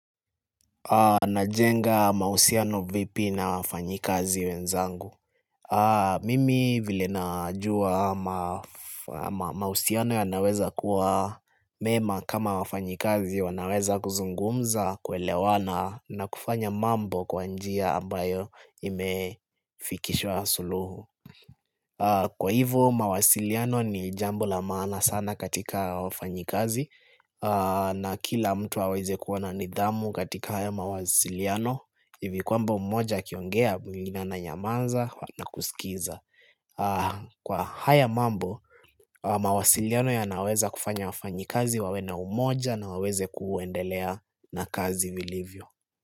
Najenga mausiano vipi na wafanyikazi wenzangu Mimi vile najua mausiano ya naweza kuwa mema kama wafanyikazi wanaweza kuzungumza kwelewana na kufanya mambo kwanjia ambayo imefikishwa suluhu Kwa hivyo, mawasiliano ni jambo lamana sana katika wafanyikazi na kila mtu waweze kuwana nidhamu katika haya mawasiliano, hivi kwamba umoja kiongea mungina na nyamanza na kusikiza. Kwa haya mambo, mawasiliano ya naweza kufanya wafanyikazi wawe na umoja na waweze kuendelea na kazi vilivyo.